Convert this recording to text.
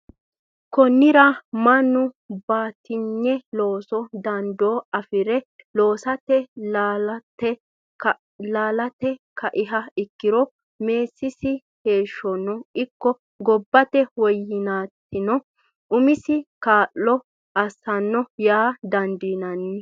Konnira mannu batinyu loosu dandoo afi re loosate laalaate kaiha ikkiro meessisi heeshshonno ikko gobbate woyyinaatirano umisi kaa lo assanno yaa dandiinanni.